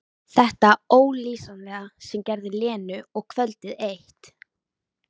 Þetta ólýsanlega sem gerði Lenu og kvöldið eitt.